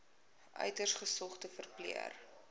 uiters gesogde verpleër